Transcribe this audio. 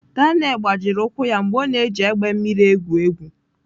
Daniel gbajiri ụkwụ ya mgbe ọ na-eji egbe mmiri egwu egwu.